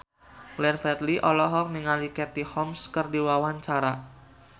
Glenn Fredly olohok ningali Katie Holmes keur diwawancara